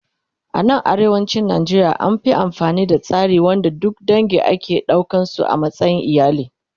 A nan arewacin Najeriya an Fi amfani da tsari wanda duk dange ake ɗaukan su a matsayin iyali